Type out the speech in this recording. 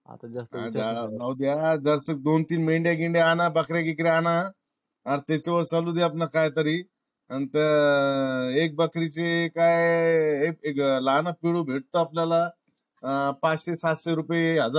आता जाऊद्या जर दोन तीन महिने गेले. आणा बकऱ्या गिकऱ्या अना. आन त्याच्यावर चालुदे आपल काही तरी. अन ते एक बकरीचे काय लहान विळू भेटतो आपल्याला पाचशे सातशे रुपये हजार